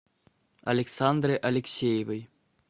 александры алексеевой